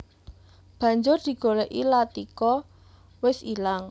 Banjur digolèki Latika wis ilang